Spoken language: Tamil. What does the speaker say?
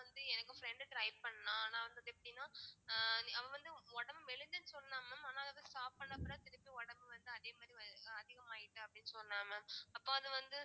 ஆனா வந்து எங்க friend try பண்ணா ஆனா வந்து அது எப்படின்னா அஹ் அவ வந்து ஒடம்பு மெலிஞ்சேன்னு சொன்னா mam ஆனா அது திருப்பி ஒடம்பு வந்து அதே மாதிரி வரு~ அதிகமாயிட்டு அப்படினு சொன்னா mam அப்போ அது வந்து